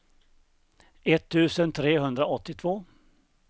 etttusen trehundraåttiotvå